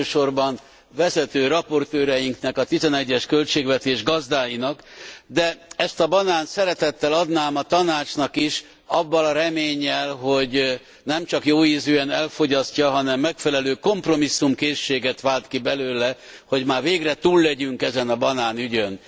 Elsősorban vezető raportőreinknek, a 2011 es költségvetés gazdáinak, de ezt a banánt szeretettel adnám a Tanácsnak is avval a reménnyel, hogy nem csak jóízűen elfogyasztja, hanem megfelelő kompromisszumkészséget vált ki belőle, hogy már végre túl legyünk ezen a banánügyön.